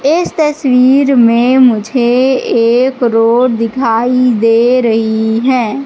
इस तस्वीर में मुझे एक रोड दिखाई दे रही है।